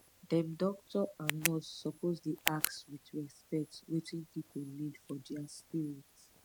dem doctor and nurse suppose dey ask with respect wetin pipu need for dia spirit